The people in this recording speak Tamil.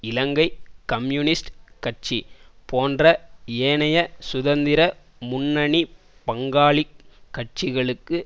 இலங்கை கம்யூனிஸ்ட் கட்சி போன்ற ஏனைய சுதந்திர முன்னணி பங்காளி கட்சிகளுக்கு